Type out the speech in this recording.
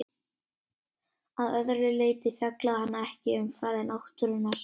Að öðru leyti fjallaði hann ekki um fræði náttúrunnar.